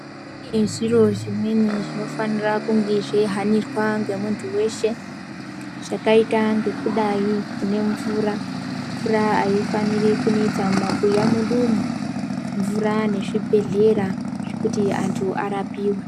Kune zviro zvimweni zvinofanira kunge zveihanirwa ngemuntu weshe chakaita ngekudayi nemvura, mvura aifaniri kunetsa mumabuya mwedumwo, mvura nezvibhedhlera zvekuti antu arapiwe.